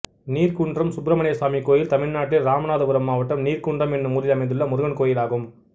நீர்குன்றம் சுப்ரமணியசாமி கோயில் தமிழ்நாட்டில் இராமநாதபுரம் மாவட்டம் நீர்குன்றம் என்னும் ஊரில் அமைந்துள்ள முருகன் கோயிலாகும்